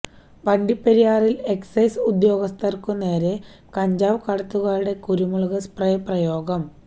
വണ്ടിപ്പെരിയാറില് excise ഉദ്യോഗസ്ഥര്ക്കു നേരെ കഞ്ചാവ് കടത്തുകാരുടെ കുരുമുളക് സ്പ്രേ പ്രയോഗം